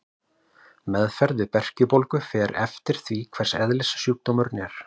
Meðferð við berkjubólgu fer eftir því hvers eðlis sjúkdómurinn er.